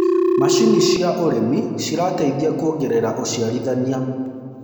macinĩ cia ũrĩmi cirateithia kuongerera uciarithanĩa